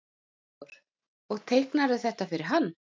Hafþór: Og teiknaðirðu þetta fyrir hann?